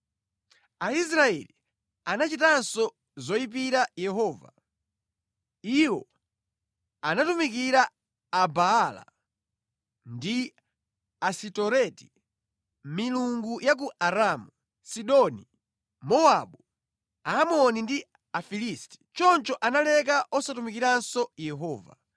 Aisraeli anachitanso zoyipira Yehova. Iwo anatumikira Abaala ndi Asitoreti, milungu ya ku Aramu, Sidoni, Mowabu, Aamoni ndi Afilisti. Choncho analeka osatumikiranso Yehova.